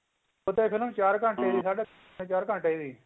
ਅੱਗੇ ਤਾਂ ਚਾਰ ਘੰਟੇ ਦੀ ਸਾਢੇ ਤਿੰਨ ਚਾਰ ਘੰਟੇ ਦੀ